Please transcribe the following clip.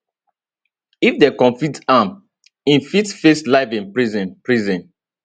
if dem convict am im fit face life in prison prison